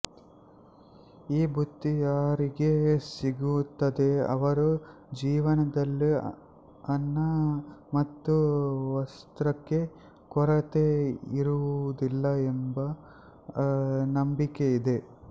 ಈ ಬುತ್ತಿ ಯಾರಿಗೆ ಸಿಗುತ್ತದೋ ಅವರ ಜೀವನದಲ್ಲಿ ಅನ್ನ ಮತ್ತು ವಸ್ತ್ರಕ್ಕೆ ಕೊರತೆ ಇರುವುದಿಲ್ಲ ಎಂಬ ನಂಬಿಕೆ ಇದೆ